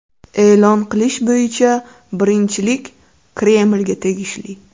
E’lon qilish bo‘yicha birinchilik Kremlga tegishli.